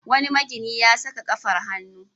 Wani magini ya saka safar hannu.